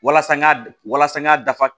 Walasa n k'a walasa n k'a dafa